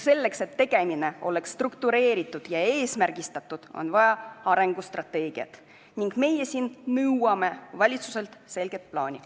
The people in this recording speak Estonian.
Selleks, et tegevus oleks struktureeritud ja eesmärgistatud, on vaja arengustrateegiat, ning meie nõuamegi valitsuselt selget plaani.